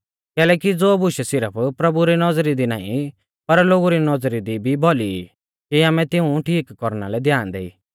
कैलैकि ज़ो बुशै सिरफ प्रभु री नौज़री दी नाईं पर लोगु री नौज़री दी भी भौली ई कि आमै तिऊं ठीक कौरना लै ध्यान देई